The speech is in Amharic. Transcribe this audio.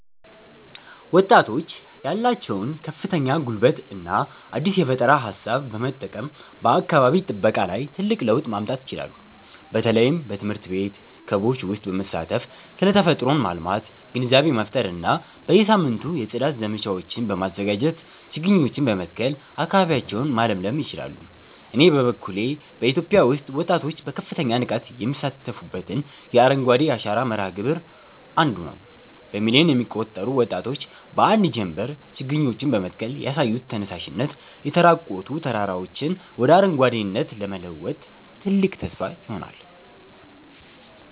ወጣቶች ያላቸውን ከፍተኛ ጉልበትና አዲስ የፈጠራ ሃሳብ በመጠቀም በአካባቢ ጥበቃ ላይ ትልቅ ለውጥ ማምጣት ይችላሉ። በተለይም በትምህርት ቤት ክበቦች ውስጥ በመሳተፍ ስለ ተፈጥሮን ማልማት ግንዛቤ መፍጠር እና በየሳምንቱ የጽዳት ዘመቻዎችን በማዘጋጀትና ችግኞችን በመትከል አካባቢያቸውን ማለምለል ይችላሉ። እኔ በበኩሌ በኢትዮጵያ ውስጥ ወጣቶች በከፍተኛ ንቃት የሚሳተፉበትን የአረንጓዴ አሻራ መርሃ ግብር 1ዱ ነዉ። በሚሊዮን የሚቆጠሩ ወጣቶች በአንድ ጀምበር ችግኞችን በመትከል ያሳዩት ተነሳሽነት፣ የተራቆቱ ተራራዎችን ወደ አረንጓዴነት ለመለወጥ ትልቅ ተስፋ ሆኗል።